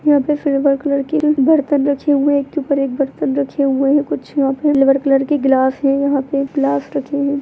यहाँ पे silver colour के बर्तन रखे हुए एक के ऊपर एक बर्तन रखे हुए है कुछ यहाँ पे सिल्वर कलर के ग्लास है यहाँ पे ग्लास रखे हुए है।